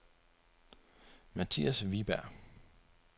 Matthias Wiberg